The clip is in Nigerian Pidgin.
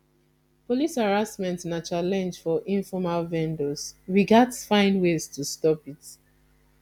police harassment na challenge for informal vendors we gats find ways to stop it